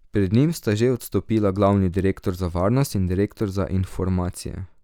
Pred njim sta že odstopila glavni direktor za varnost in direktor za informacije.